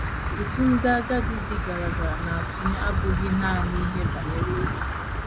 Ụtụ ndị agadi dị gara gara na - atụnye abụghị nanị n’ihe banyere ego.